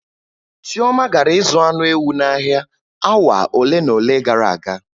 Chioma gara ịzụ anụ ewu n'ahịa awa ole na ole gara aga.